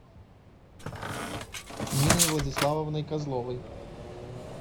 ниной владиславовной козловой